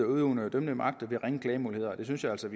udøvende og dømmende magt er ringe klagemuligheder det synes jeg altså